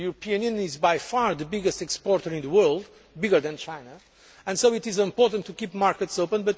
The European Union is by far the biggest exporter in the world, bigger than China, and so it is important to keep markets open.